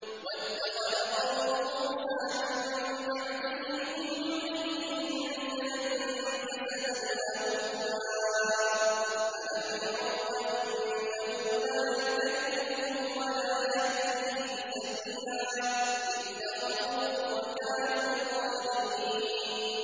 وَاتَّخَذَ قَوْمُ مُوسَىٰ مِن بَعْدِهِ مِنْ حُلِيِّهِمْ عِجْلًا جَسَدًا لَّهُ خُوَارٌ ۚ أَلَمْ يَرَوْا أَنَّهُ لَا يُكَلِّمُهُمْ وَلَا يَهْدِيهِمْ سَبِيلًا ۘ اتَّخَذُوهُ وَكَانُوا ظَالِمِينَ